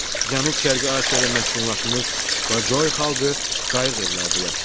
Cənub-Şərqi Asiyada məskunlaşmış Bajoy xalqı qayıq evlərdə yaşayır.